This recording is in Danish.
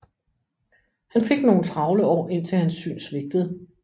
Han fik nogle travle år indtil hans syn svigtede